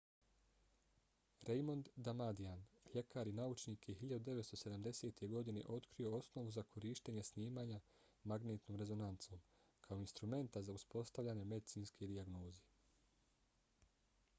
raymond damadian ljekar i naučnik je 1970. godine otkrio osnovu za korištenje snimanja magnetnom rezonancom kao instrumenta za uspostavljanje medicinske dijagnoze